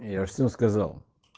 я всё сказал